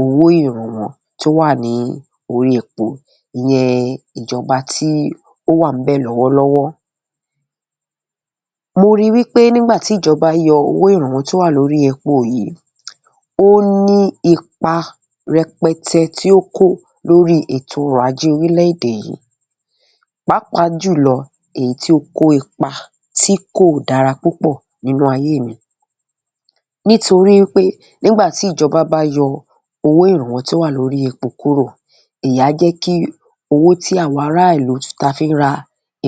owó ìrànwọ́ tí ó wà ní orí epo, ìyẹn ìjọba tí ó wà níbẹ̀ lọ́wọ́lọ́wọ́. Mo ríi wí pé nígbà tí ìjọba yọ owó ìrànwọ́ tó wà lórí epo yìí, ó ní ipa rẹpẹtẹ tí ó kó lórí ètò ọrọ̀-ajé orílẹ̀-èdè yìí, pàápàá jùlọ èyí tí ó kó ipa tí kò dára púpọ̀ nínú ayé mi nítorí pé nígbà tí ìjọba bá yọ owó ìrànwọ́ tí ó wà lórí epo kúrò, èyí á jẹ́ kí owó tí àwa ará ìlú táa fi ń ra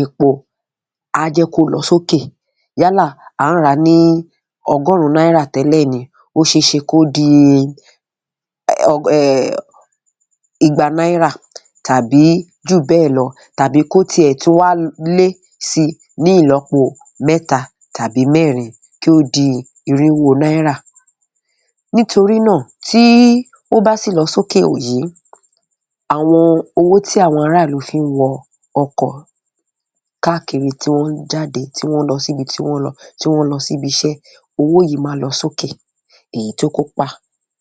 epo, á jẹ́ kó lọ sókè, yálà, à n rà á ní ọgọ́rùn-ún náírà tẹ́lẹ̀ ni, ó ṣe é ṣe kó di, um, igba náìrà tàbí jù bẹ́ẹ̀ lọ, tàbí kó tiẹ̀ tún wá lé síi ní ìlọ́po mẹ́ta tàbí mẹ́rin, kí ó di iríwó náírà. Nítorí náà, tí ó bá sì lọ sókè yìí, àwọn owó tí àwọn ará ìlú fi ń wọ ọkọ̀ káàkiri, tí wọ́n ń jáde, tí wọ́n lọ síbi tí wọ́n ń lọ, tí wọ́n ń lọ síbi iṣẹ́, owó yìí máa lọ sókè, èyí tó kópa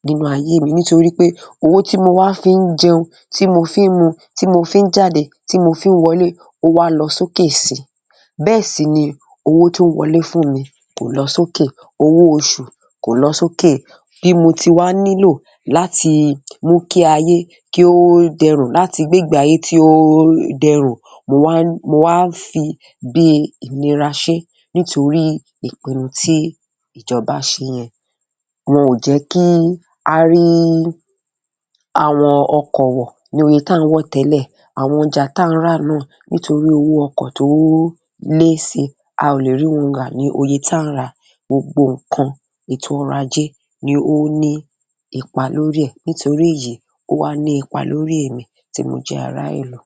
nínú ayé mi nítorí pé owo´ tí mo wá fi ń jẹun, tí mo fi ń mu, tí mo fi ń jáde, tí mo fi ń wọlé, ó wá lọ sókè síi. Bẹ́ẹ̀ sì ni owó tó ń wọlé fún mi kò lọ sókè, owó oṣù kò lọ sókè. Bí mo ti wá nílò láti mú kí ayé kí ó dẹrùn, láti gbé ìgbé ayé tí ó dẹrùn, mo wá ń fi bíi ìnira ṣe é nítorí ìpinnu tí ìjọba ṣe yẹn. Wọn ò jẹ́ kí á rí àwọn ọkọ̀ wọ̀ níye táà ń wọ̀ tẹ́lẹ̀, àwọn ọjà táà ń rà náà, nítorí owó ọkọ̀ tó lé síi, a ò lè rí wọn rà ní oye táà ń rà á. Gbogbo nǹkan, ètò ọrọ̀ ajé ni ó ní ipa lórí ẹ̀. Nítorí èyí, ó wá ní ipa lórí èmi tí mo jẹ́ ará ìlú.